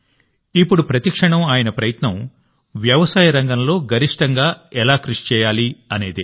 ఇప్పుడు ప్రతి క్షణం ఆయన ప్రయత్నం వ్యవసాయ రంగంలో గరిష్టంగా ఎలా కృషి చేయాలనేదే